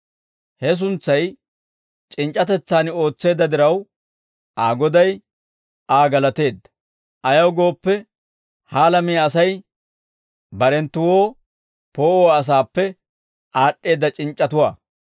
«He suntsay c'inc'c'atetsaan ootseedda diraw, Aa goday Aa galateedda; ayaw gooppe, ha alamiyaa Asay barenttuwoo poo'uwaa asaappe aad'd'eedda c'inc'c'atuwaa.